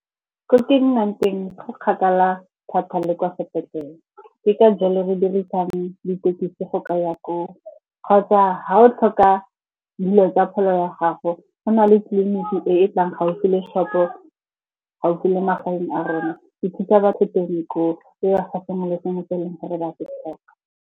Ko ke nnang teng go kgakala thata le kwa sepetlele. Ke ka jalo re dirisang dithekisi go ka ya koo, kgotsa ga o tlhoka dilo tsa pholo ya gago go na le tleliniki e e tlang gaufi le shop-o, gaufi le magaeng a rona. E phuta batho teng koo, e ba fa sengwe le sengwe se eleng gore ba se tlhoka.